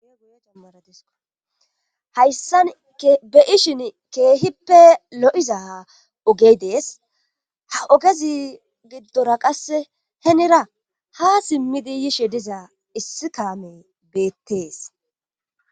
Goy jammaradis hayssan be ishin keehippe lo7iza ha ogey dees ha ogezi giddora qasse henira ha simmidi yishe dizaa issi kaame beettees